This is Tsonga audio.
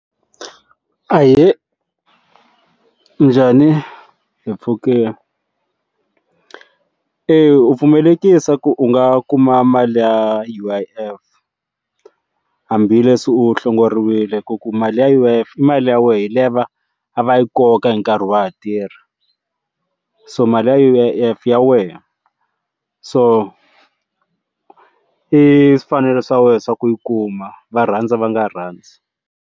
Ahee minjhani hi mpfhukini eyi u pfumela tekisa ku u nga kuma mali ya U_I_F hambileswi u hlongoriwile ku ku mali ya U_I_F i mali ya wena yi liya a va yi koka hi nkarhi wa ha tirha so mali ya U_I_F i ya wena so i mfanelo swa wena swa ku yi kuma va rhandza va nga rhandzi.